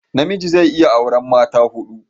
namiji zai iya aura mata hudu